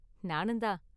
நானுந்தான்.